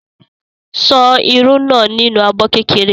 Ṣan irú náà nínú abọ́ kékeré.